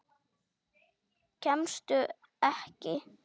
Kemstu ekki?